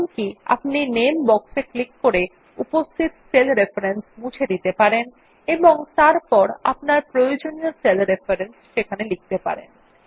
এমনকি আপনি নামে বক্স এ ক্লিক করে উপস্থিত সেল রেফারেন্স মুছে দিতে পারেন এবং তারপর আপনার প্রয়োজনীয় সেল রেফারেন্স লিখতে পারেন